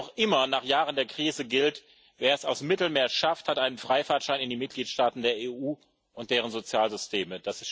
Noch immer nach Jahren der Krise gilt Wer es aus dem Mittelmeer schafft, hat einen Freifahrtschein in die Mitgliedstaaten der EU und deren Sozialsysteme.